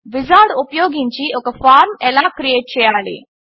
wizard ఉపయోగించి ఒక form ఎలా క్రియేట్ చేయాలి